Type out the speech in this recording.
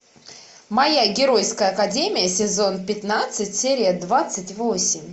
моя геройская академия сезон пятнадцать серия двадцать восемь